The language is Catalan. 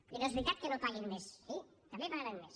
i no és veritat que no paguin més sí també pagaran més